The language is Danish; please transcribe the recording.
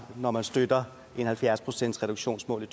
når man støtter et halvfjerds procentsreduktionsmål i